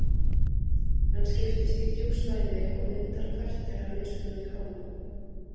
Hann skiptist í þrjú svæði og myndar hvert þeirra mismunandi hormón.